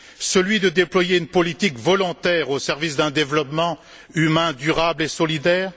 celui de déployer une politique volontaire au service d'un développement humain, durable et solidaire.